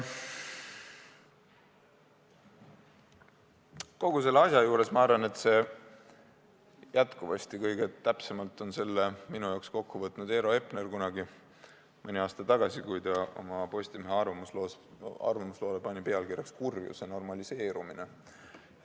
Kogu selle asja, ma arvan, on kõige täpsemalt kokku võtnud Eero Epner mõni aasta tagasi, kui ta oma Postimehe arvamusloole pani pealkirjaks "Kurjuse normaliseerumine".